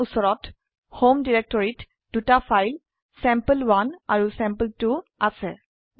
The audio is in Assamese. আমাৰ উচৰত হোম ডিৰেক্টৰিত দুটা ফাইল চেম্পল1 আৰু চেম্পল2 আছে